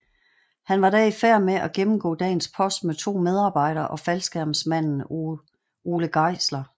Han var da i færd med at gennemgå dagens post med 2 medarbejdere og faldskærmsmanden Ole Geisler